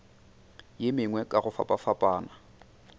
ye mengwe ka go fapafapana